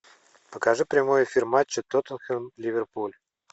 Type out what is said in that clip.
покажи прямой эфир матча тоттенхэм ливерпуль